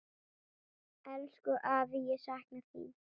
Elsku afi, ég sakna þín.